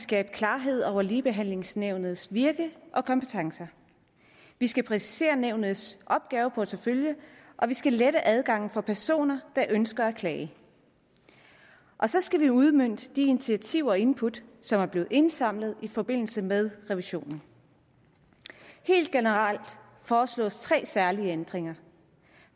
skabe klarhed over ligebehandlingsnævnets virke og kompetencer vi skal præcisere nævnets opgaveportefølje og vi skal lette adgangen for personer der ønsker at klage og så skal vi udmønte de initiativer og input som er blevet indsamlet i forbindelse med revisionen helt generelt foreslås tre særlige ændringer